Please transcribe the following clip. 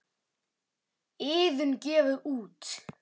Iðunn gefur út.